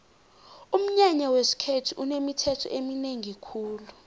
umnyanya wesikhethu unemithetho eminengi khulu